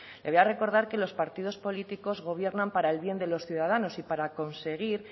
le voy a recordar que los partidos políticos gobiernan para el bien de los ciudadanos y para conseguir